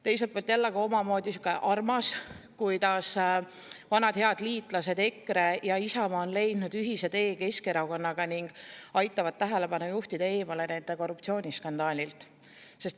Teiselt poolt on jälle omamoodi armas, kuidas vanad head liitlased EKRE ja Isamaa on leidnud ühise tee Keskerakonnaga ning aitavad juhtida nende korruptsiooniskandaalilt tähelepanu eemale.